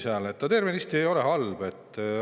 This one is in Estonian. ei ole tervenisti halb.